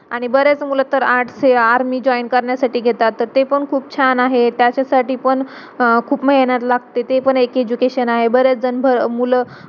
अ तेरावी ला असेल तर त्याची अ ही कशी पाहिजे वागणूक कशी पाहिजे पोरांची नाय तो शांत .